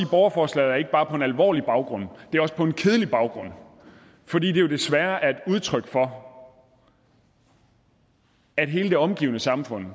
borgerforslaget ikke bare på en alvorlig baggrund men også på en kedelig baggrund for det er jo desværre et udtryk for at hele det omgivende samfund